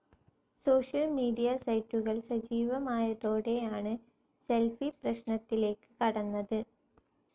Social media സൈറ്റുകൾ സജീവമായതോടെയാണ് selfie പ്രശ്നത്തിലേക്ക് കടന്നത്.